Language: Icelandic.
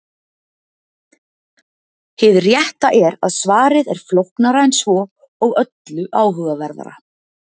Hið rétta er að svarið er flóknara en svo og öllu áhugaverðara.